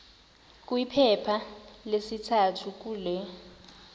kwiphepha lesithathu kule